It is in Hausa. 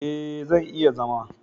E, zan iya zama.